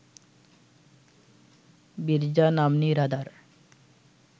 বিরজা নাম্নী রাধার